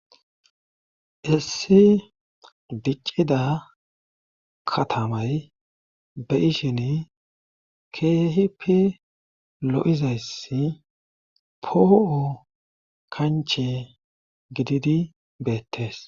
Issi diccida katamay be ishini keehipi lo'izayssi poo'o kanche gididi beettees.